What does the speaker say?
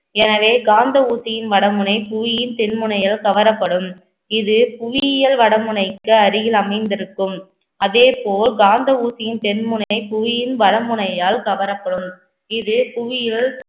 எனவே காந்த ஊசியின் வடமுனை, புவியின் தென் முனையால் கவரப்படும் இது புவியியல் வடமுனைக்கு அருகில் அமைந்திருக்கும். அதே போல் காந்த ஊசியின் தென்முனை புவியின் வடமுனையால் கவரப்படும். இது புவியில்